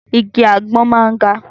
Igi àgbọn máa ń ga.